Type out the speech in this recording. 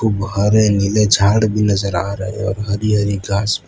बाहर ये नीले झाड़ भी नजर आ रहे और हरी हरी घास --